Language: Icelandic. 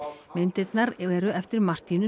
myndirnar eru eftir